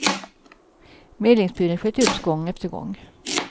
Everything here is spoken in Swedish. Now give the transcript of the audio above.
Medlingsbudet sköts upp gång efter gång.